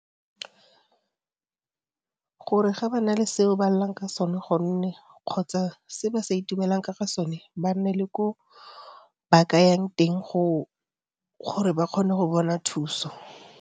Gore ga ba na le seo ba lelang ka sone gonne kgotsa se ba sa itumela ka ga sone ba nne le ko ba ka yang teng gore ba kgone go bona thuso.